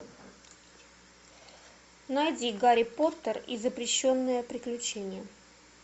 найди гарри поттер и запрещенное приключение